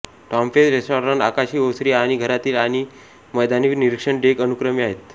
टॉमफेस restaurant आकाशी ओसरी आणि घरातील आणि मैदानी निरीक्षण डेक अनुक्रमे आहेत